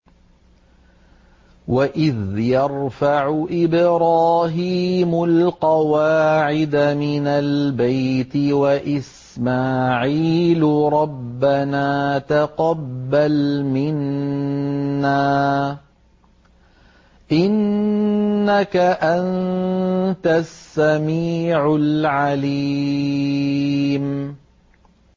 وَإِذْ يَرْفَعُ إِبْرَاهِيمُ الْقَوَاعِدَ مِنَ الْبَيْتِ وَإِسْمَاعِيلُ رَبَّنَا تَقَبَّلْ مِنَّا ۖ إِنَّكَ أَنتَ السَّمِيعُ الْعَلِيمُ